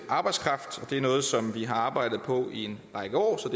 arbejdskraft og det er noget som vi har arbejdet på en række år så